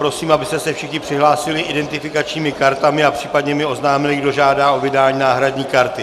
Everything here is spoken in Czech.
Prosím, abyste se všichni přihlásili identifikačními kartami a případně mi oznámili, kdo žádá o vydání náhradní karty.